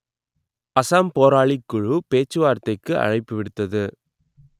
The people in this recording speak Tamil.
அசாம் போராளிக் குழு பேச்சுவார்த்தைக்கு அழைப்பு விடுத்தது